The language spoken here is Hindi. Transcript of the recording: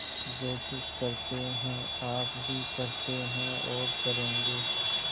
जो कुछ करते हैं आप ही करते हैं और करेंगे